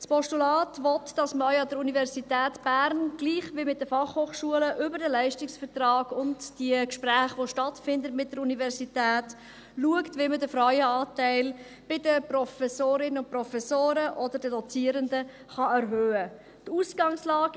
Das Postulat will, dass man auch an der Universität Bern, gleich wie an den Fachhochschulen, über den Leistungsvertrag und an den Gesprächen, die mit der Universität stattfinden, schaut, wie man den Frauenanteil bei den Professorinnen und Professoren oder bei den Dozierenden erhöhen kann.